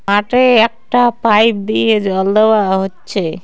মাঠে একটা পাইপ দিয়ে জল দেওয়া হচ্ছে।